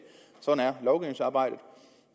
sådan er lovgivningsarbejdet